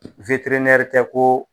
Witirinɛri tɛ ko